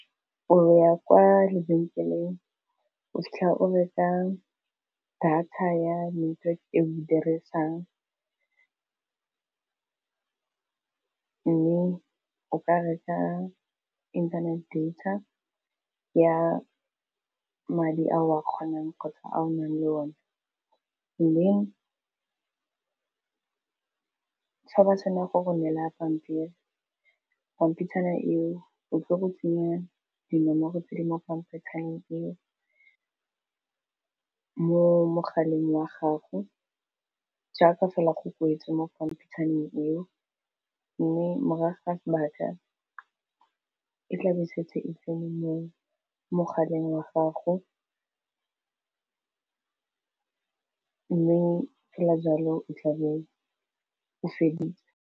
O ya kwa lebenkeleng o fitlhe o reka data ya metso e o dirisang mme o ka reka inthanete data ya madi a o a kgonang kgotsa a o nang le o ne, mme ga ba tshwanela go go neela pampiri pampitshana eo, o tlo go tsenya dinomoro tse di mo gapetswang eo mo mogaleng wa gago jaaka fela go kwetswe mo pampitshaneng eo, mme morago ga sebaka e tla e setse e tsene mo mogaleng wa gago mme fela jalo o tla bo o feditse.